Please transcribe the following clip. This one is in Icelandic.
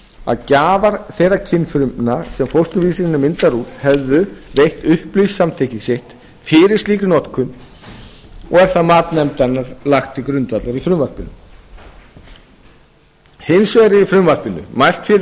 að gjafar þegar kynfrumna sem fósturvísirinn er myndaður úr hefðu veitt upplýst samþykki sitt fyrir slíkri notkun og er það mat nefndarinnar lagt til grundvallar í frumvarpinu hins vegar er í frumvarpinu mælt fyrir